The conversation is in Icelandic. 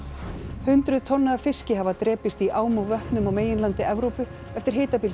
hundruð tonna af fiski hafa drepist í ám og vötnum á meginlandi Evrópu eftir